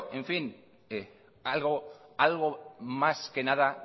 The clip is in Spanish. algo más que nada